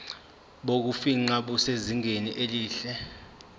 bokufingqa busezingeni elihle